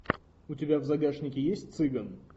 у тебя в загашнике есть цыган